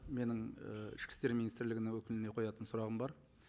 менің і ішкі істер министрлігінің өкіліне қоятын сұрағым бар